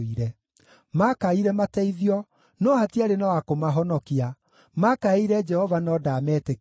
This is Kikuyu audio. Maakaire mateithio, no hatiarĩ na wa kũmahonokia, maakaĩire Jehova no ndaametĩkire.